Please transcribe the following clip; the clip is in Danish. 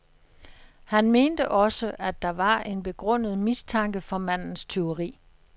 Han mente også, at der var en begrundet mistanke for mandens tyveri.